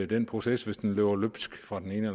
den proces hvis den løber løbsk fra den ene